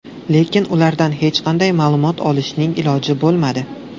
Lekin ulardan hech qanday ma’lumot olishning iloji bo‘lmadi.